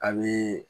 Ani